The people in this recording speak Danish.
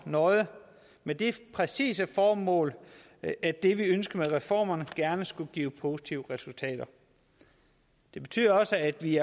nøje med det præcise formål at det vi ønsker med reformerne gerne skulle give positive resultater det betyder også at vi